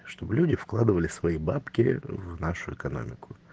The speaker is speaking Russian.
чтобы люди вкладывали свои бабки в нашу экономику